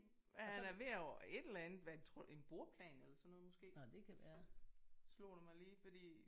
Ja han er ved at et eller andet hvad tror du en bordplan eller sådan noget måske? Slog det mig lige fordi